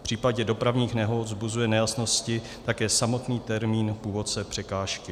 V případě dopravních nehod vzbuzuje nejasnosti také samotný termín původce překážky.